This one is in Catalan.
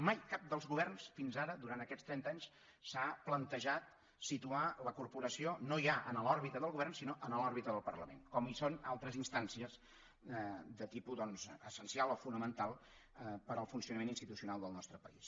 mai cap dels governs fins ara durant aquests trenta anys s’ha plantejat situar la corporació no ja en l’òrbita del govern sinó en l’òrbita del parlament com hi són altres instàncies de tipus doncs essencial o fonamental per al funcionament institucional del nostre país